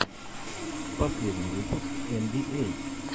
последний выпуск эн би эй